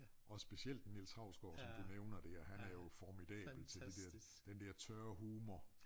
Og specielt Niels Hausgaard som du nævner der han er jo formidabel til det der den der tørre humor